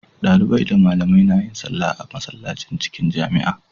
Dalibai da malamai nayin sallah a masallacin cikin jamia